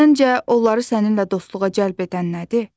Səncə onları səninlə dostluğa cəlb edən nədir?